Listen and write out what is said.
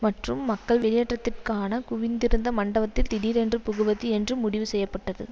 மற்றும் மக்கள் வெளியேற்றத்திற்கான குவிந்திருந்த மண்டபத்தில் திடீரென்று புகுவது என்று முடிவு செய்ய பட்டது